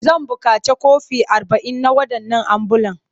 Zan buƙaci kwafi arba'in na waɗannan ambulan.